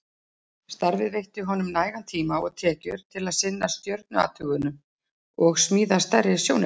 Starfið veitti honum nægan tíma og tekjur til að sinna stjörnuathugunum og smíða stærri sjónauka.